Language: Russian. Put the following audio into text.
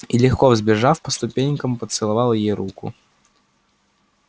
и легко взбежав по ступенькам поцеловал ей руку